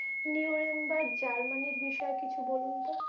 New rain বা Germany র বিষয়ে কিছু বলুন তো?